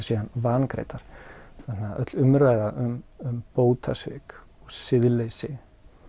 vangreiddar þannig að öll umræða um bótasvik og siðleysi